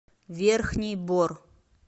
верхний бор